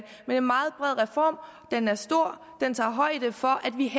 er en meget bred reform den er stor den tager højde for at vi